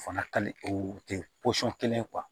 O fana kali o tɛ pɔsɔni kelen ye